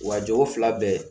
Wa jogo fila bɛɛ